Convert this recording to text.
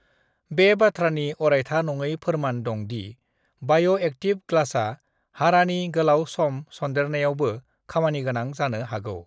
बे बाथ्रानि अरायथा नङै फोरमान दं दि बाय'एक्टिव ग्लासआ हारानि गोलाव सम सन्देरनायावबो खामानिगोनां जानो हागौ।